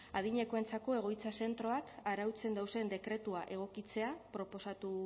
adinekoentzako egoitza zentroak arautzen dauzen dekretua egokitzea proposatu